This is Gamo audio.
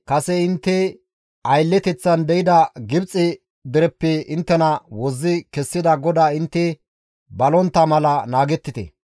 kase intte aylleteththan deyida Gibxe dereppe inttena wozzi kessida GODAA intte balontta mala naagettite.